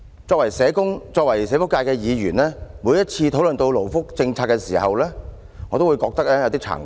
作為社工、作為社福界的議員，每當討論到勞福政策時，我也會感到有點慚愧。